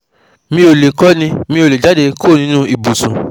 mi ò lè kọ́ni, mi ò lè jáde kúrò nínú ibùsùn